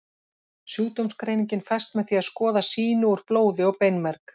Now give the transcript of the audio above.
Sjúkdómsgreiningin fæst með því að skoða sýni úr blóði og beinmerg.